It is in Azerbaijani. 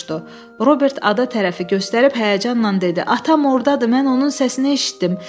Robert ada tərəfi göstərib həyəcanla dedi: Atam ordadır, mən onun səsini eşitdim.